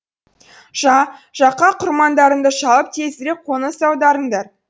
жа жақа құрмандарыңды шалып тезірек қоныс аударыңдар